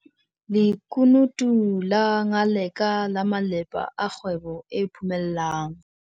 Lekunutu la Ngaleka la malepa a kgwebo e phomellang.